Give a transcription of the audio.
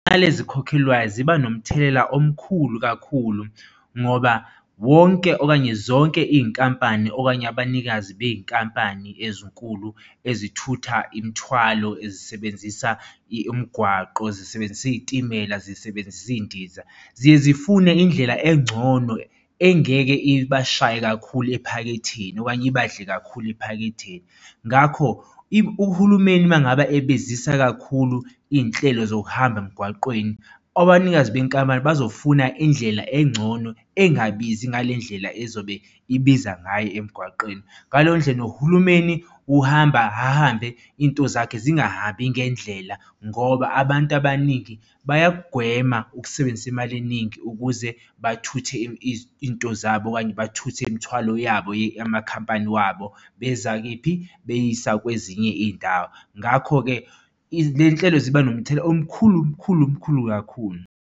Mali ezikhokhelwayo ziba nomthelela omkhulu kakhulu ngoba wonke okanye zonke iy'nkampani okanye abanikazi bey'nkampani ezinkulu ezithutha imithwalo ezisebenzisa umgwaqo zisebenzisa iy'timela zisebenzisa iy'ndiza zifune indlela engcono engeke ibashaye kakhulu ephaketheni okanye ibadle kakhulu ephaketheni. Ngakho uhulumeni uma ngabe ebazisa kakhulu iy'nhlelo zokuhamba emgwaqeni, abanikazi benkampani bazofuna indlela engcono engabizi ngale ndlela ezobe ibiza ngayo emgwaqeni. Ngaleyo ndlela nohulumeni uhamba ahambe, iy'nto zakhe zingahambi ngendlela ngoba abantu abaningi bayakugwema ukusebenzisa imali eningi ukuze bathuthe iy'nto zabo okanye, bathuthe imithwalo yabo amakhampani wabo beza kephi? Beyisa kwezinye iy'ndawo. Ngakho-ke le y'nhlelo ziba nomthelela omkhulu mkhulu mkhulu kakhulu.